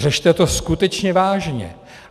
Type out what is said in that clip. Řešte to skutečně vážně.